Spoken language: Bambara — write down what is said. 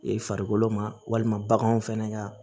I farikolo ma walima baganw fɛnɛ ka